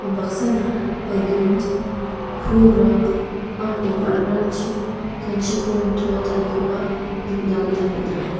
unbaksana belun pulrang aro ba·rarangchi ganchiko nitoatanikoba nikna gita man·a.